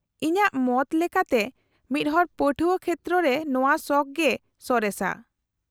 -ᱤᱧᱟᱹᱜ ᱢᱚᱛ ᱞᱮᱠᱟᱛᱮ ᱢᱤᱫᱦᱚᱲ ᱯᱟᱹᱴᱷᱣᱟᱹ ᱠᱷᱮᱛᱨᱚ ᱨᱮ ᱱᱚᱶᱟ ᱥᱚᱠᱷ ᱜᱮ ᱥᱚᱨᱮᱥᱟ ᱾